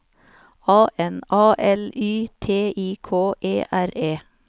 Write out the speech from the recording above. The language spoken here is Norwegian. A N A L Y T I K E R E